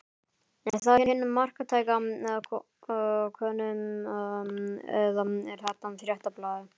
Er það hin marktæka könnun eða er það Fréttablaðið?